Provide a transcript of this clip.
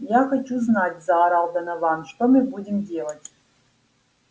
я хочу знать заорал донован что мы будем делать